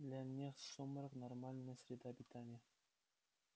для них сумрак нормальная среда обитания